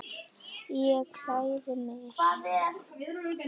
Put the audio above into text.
Ég klæði mig.